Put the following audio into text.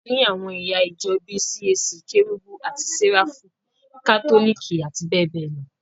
A ni àwọn ẹ̀yà ìjọ bíi CAC, Kérúbù àti séráfù, Kátólìkì, àti bẹ́ẹ̀bẹ́ẹ̀ lọ.